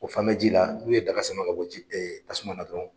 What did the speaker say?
O fan bɛ ji la, n'un ye daga sama ka bo ji e tasuma na dɔrɔn.